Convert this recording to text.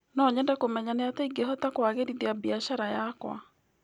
No nyende kũmenya nĩatĩa ingĩhota kũagĩrithia biacara yakwa.